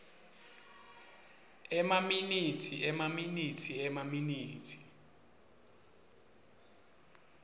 emaminitsi emaminitsi emaminitsi